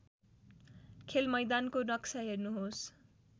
खेलमैदानको नक्सा हेर्नुहोस्